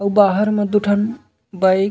आऊ बाहर में दू ठन बाइक --